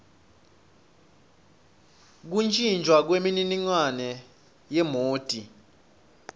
kuntjintjwa kwemininingwane yemoti